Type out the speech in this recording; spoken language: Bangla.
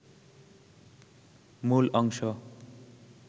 মূল অংশ